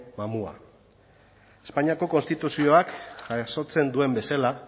mamua espainiako konstituzioak jasotzen duen bezala